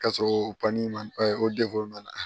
Ka sɔrɔ man ɛɛ o man ɲi